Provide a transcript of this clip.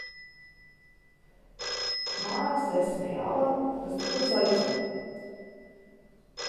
Maja se je smejala, da sta kot zajca.